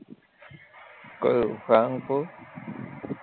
કયું સારંગપુર